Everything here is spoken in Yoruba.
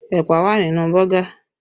Ẹ̀pà wà nínú Bọ́gà